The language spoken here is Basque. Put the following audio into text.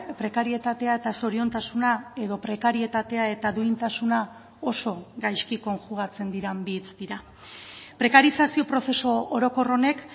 prekarietatea eta zoriontasuna edo prekarietatea eta duintasuna oso gaizki konjugatzen diren bi hitz dira prekarizazio prozesu orokor honek